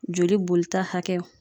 Joli bolita hakɛw